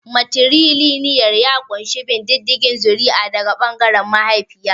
Matrilinial ya ƙunshi bin diddigin zuri'a daga ɓangaren mahaifiya.